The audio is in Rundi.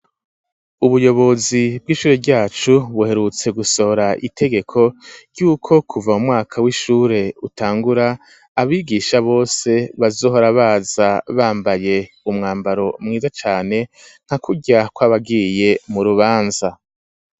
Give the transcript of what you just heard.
Ubuyobozi bw'ishure ryacu, buherutse gusohora itegeko ry'uko kuva mumwaka w'ishure utangura, abigisha bose bazohora baza bambaye umwambaro mwiza cane, nka kurya kw'abagiye mu rubanza.